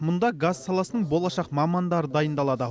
мұнда газ саласының болашақ мамандары дайындалады